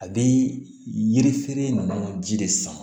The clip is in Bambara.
A bɛ yiri feere ninnu ji de san